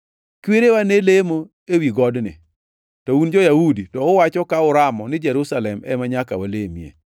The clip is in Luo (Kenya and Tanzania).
Kwerewa ne lemo ewi godni, to un jo-Yahudi to uwacho ka uramo ni Jerusalem ema nyaka walamie.”